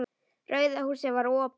Rauða húsið var opið.